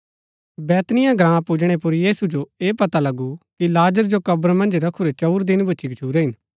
बैतनिय्याह ग्राँ पुजणै पुर यीशु जो ऐह पता लगु कि लाजर को कब्र मन्ज रखुरै चंऊर दिन भूच्ची गच्छुरै हिन